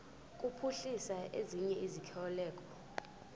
kuphuhlisa ezinye izikhokelo